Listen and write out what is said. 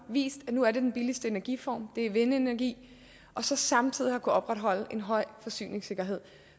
vist at nu er det den billigste energiform det er vindenergi og så samtidig har kunnet opretholde en høj forsyningssikkerhed